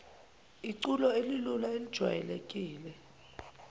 iculo elilula elijwayelekile